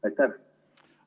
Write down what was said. Aitäh!